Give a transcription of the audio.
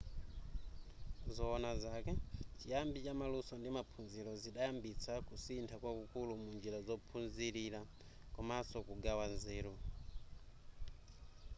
zoona zake chiyambi chamaluso ndi maphunziro zidayambitsa kusintha kwakukulu munjira zophunzilira komaso kugawa nzeru